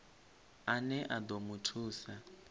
ane a ḓo mu thusa